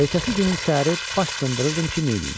Ertəsi günün səhəri baş sındırırdım ki, neyniyim.